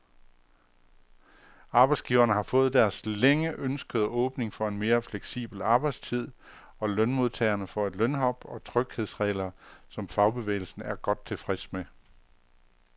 Arbejdsgiverne har fået deres længe ønskede åbning for en mere fleksibel arbejdstid, og lønmodtagerne får et lønhop og tryghedsregler, som fagbevægelsen er godt tilfreds med.